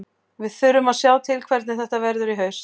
Við þurfum að sjá til hvernig þetta verður í haust.